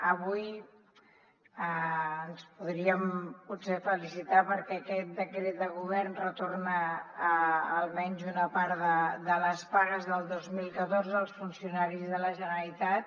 avui ens podríem potser felicitar perquè aquest decret de govern retorna almenys una part de les pagues del dos mil catorze als funcionaris de la generalitat